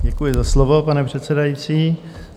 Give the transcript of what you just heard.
Děkuji za slovo, pane předsedající.